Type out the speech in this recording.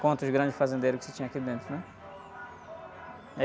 Contra os grandes fazendeiros que se tinha aqui dentro, né?